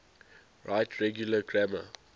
right regular grammar